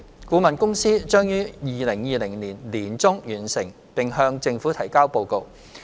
顧問公司將在2020年年中完成並向政府提交報告。